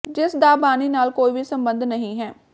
ਜਿਸ ਦਾ ਬਾਣੀ ਨਾਲ ਕੋਈ ਵੀ ਸੰਬੰਧ ਨਹੀਂ ਹੈ